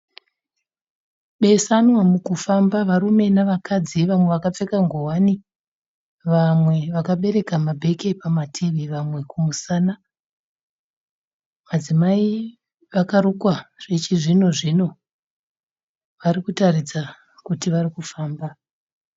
Besanwa mukufamba varume nevakadzi vamwe vakapfeka ngowani vamwe vakabereka mabheke pamativi vamwe kumusana. Madzimai vakarukwa zvechizvino-zvino vari kuratidza kuti vari kufamba.